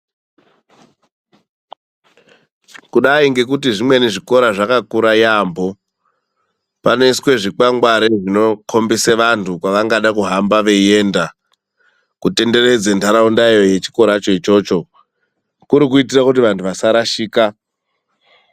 Kudai ngekuti zvimweni zvikora zvakakura yaampho. Panoiswe zvikwangwari zvinokhombisa vantu kwavangada kuhamba veienda kutenderedza nharaundayo yechikoracho ichocho, kuri kuitira kuti vantu vasarashika.